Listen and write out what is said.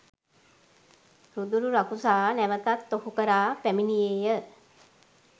රුදුරු රකුසා නැවතත් ඔහු කරා පැමිණියේ ය